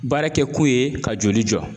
Baara kɛkun ye ka joli jɔ